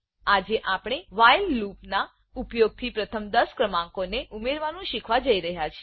આજે આપણે while loop while loop ના ઉપયોગથી પ્રથમ 10 ક્રમાંકો ને ઉમેરવાનું શીખવા જઈ રહ્યા છે